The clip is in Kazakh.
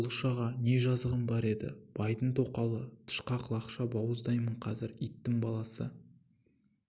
бұлыш аға не жазығым бар байдың тоқалы тышқақ лақша бауыздайым қазір иттің баласы